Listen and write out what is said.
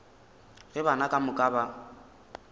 ge bana ka moka ba